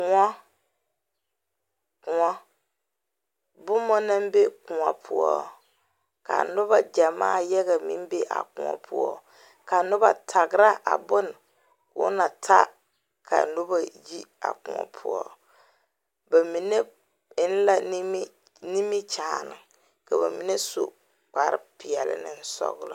Kõɔ kõɔ boma na be kõɔ poɔ ka noba ɡyamaa yaɡa meŋ be a kõɔ poɔ ka noba taɡra a bon ka o na ta ka noba yi a kõɔ poɔ ba mine en la nimikyaane ka ba mine su kparpeɛle ne sɔɡelɔ.